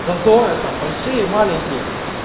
зазоры там большие маленькие